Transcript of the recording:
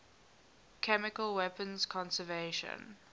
chemical weapons convention